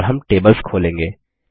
और हम टेबल्स खोलेंगे